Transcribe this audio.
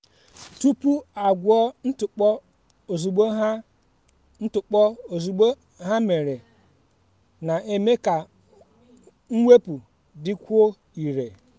tupu agwọ ntụpọ ozugbo ha ntụpọ ozugbo ha mere na-eme ka mwepụ dịkwuo irè.